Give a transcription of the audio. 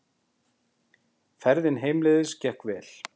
Ferðin heimleiðis gekk vel.